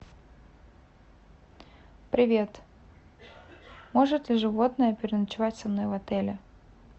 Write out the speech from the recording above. привет может ли животное переночевать со мной в отеле